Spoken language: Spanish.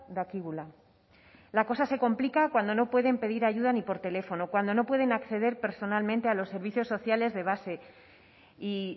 dakigula la cosa se complica cuando no pueden pedir ayuda ni por teléfono cuando no pueden acceder personalmente a los servicios sociales de base y